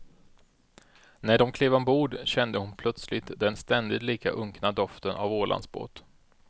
När de klev ombord kände hon plötsligt den ständigt lika unkna doften av ålandsbåt.